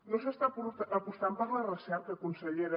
no s’està apostant per la recerca consellera